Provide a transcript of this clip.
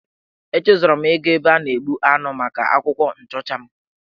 Echezọrọ m ịga ebe a na-egbu anụ maka akwụkwọ nchọcha m.